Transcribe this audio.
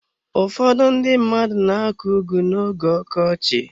Ụfọdụ ndị mmadụ na akọ ugu na-oge ọkọchị.